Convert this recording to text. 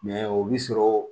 o bi sɔrɔ